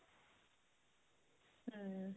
ਹਮ